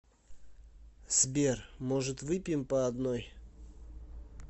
сбер может выпьем по одной